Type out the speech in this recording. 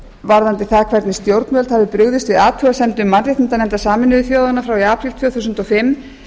varðandi það hvernig stjórnvöld hafi brugðist við athugasemdum mannréttindanefndar sameinuðu þjóðanna frá því í apríl tvö þúsund og fimm